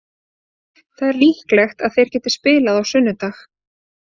Það er líklegt að þeir geti spilað á sunnudag.